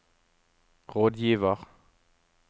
rådgiver